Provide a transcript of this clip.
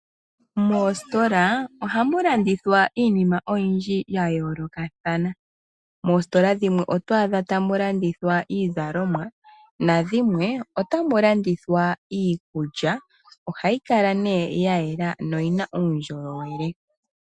Moositola ohamu landithwa iinima oyindji ya yoolokathana. Moositola dhimwe oto adha tamu landithwa iizalomwa nadhimwe otamu landithwa iikulya, ohayi kala nee ya yela noyina uundjolowele.